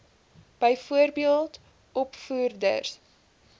byvoorbeeld opvoeders